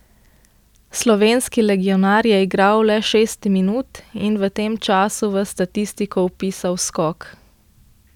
Slovenski legionar je igral le šest minut in v tem času v statistiko vpisal skok.